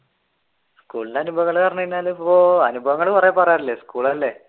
സ്കൂളിന്റെ അനുഭവങ്ങൾ പറഞ്ഞു കഴിഞ്ഞാൽ ഇപ്പോൾ അനുഭവങ്ങൾ കുറെ പറയാറില്ലേ സ്കൂളല്ലേ